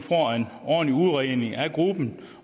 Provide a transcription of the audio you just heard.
ordentlig udredning af gruppen